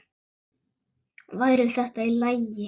Væri þetta í lagi?